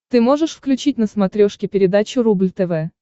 ты можешь включить на смотрешке передачу рубль тв